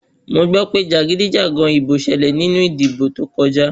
Mo gbọ́ pé jàgídíjàgan ìbò ṣẹlẹ̀ nínú ìdìbò tó kọjá.